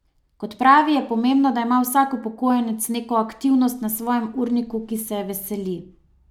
Kot pravi, je pomembno, da ima vsak upokojenec neko aktivnost na svojem urniku, ki se je veseli.